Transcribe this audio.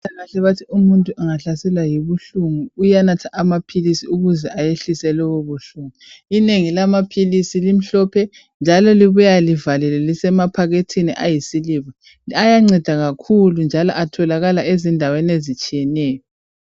umuntu angahlaselwa yibuhlungu uyanatha amaphilisi ukuze ayehlise lobo buhlungu inengi lamaphilisi limhlophe njalo libuya livalelwe lise maphakethini ayisiliva ayanceda kakhulu njalo atholakala ezindaweni ezitshiyeneyo